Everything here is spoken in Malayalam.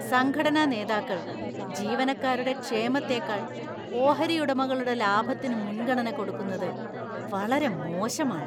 സംഘടനാനേതാക്കൾ ജീവനക്കാരുടെ ക്ഷേമത്തേക്കാൾ ഓഹരി ഉടമകളുടെ ലാഭത്തിന് മുൻഗണന കൊടുക്കുന്നത് വളരെ മോശമാണ്.